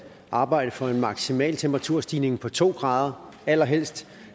arbejde for en maksimal temperaturstigning på to grader allerhelst